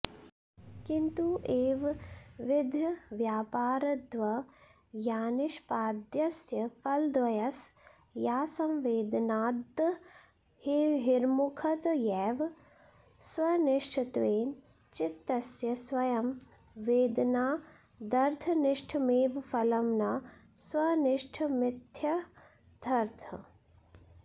किन्तु एवंविधव्यापारद्वयनिष्पाद्यस्य फलद्वयस्यासंवेदनाद्बहिर्मुखतयैव स्वनिष्ठत्वेन चित्तस्य स्वयं वेदनादर्थनिष्ठमेव फलं न स्वनिष्ठमित्यर्थः